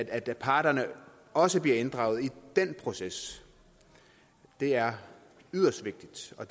at parterne også bliver inddraget i den proces det er yderst vigtigt og